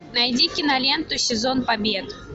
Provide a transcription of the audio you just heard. найди киноленту сезон побед